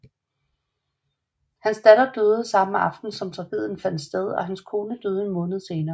Hans datter døde den samme aften som tragedien fandt sted og hans kone døde en måned senere